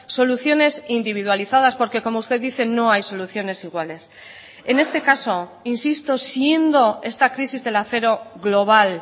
soluciones individualizadas porque como usted dice no hay soluciones iguales en este caso insisto siendo esta crisis del acero global